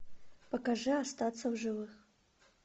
покажи остаться в живых